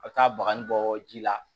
A bɛ taa bagaji bɔ ji la